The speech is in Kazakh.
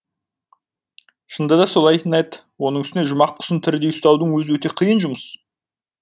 шынында да солай нед оның үстіне жұмақ құсын тірідей ұстаудың өзі өте қиын жұмыс